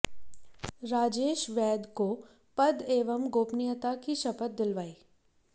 राजेश वैद को पद एवं गोपनीयता की शपथ दिलवाई